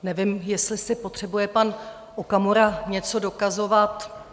Nevím, jestli si potřebuje pan Okamura něco dokazovat.